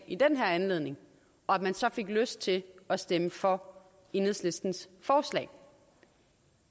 i den her anledning og at man så fik lyst til at stemme for enhedslistens forslag